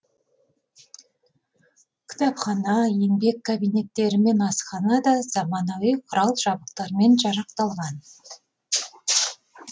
кітапхана еңбек кабинеттері мен асхана да заманауи құрал жабдықтармен жарақталған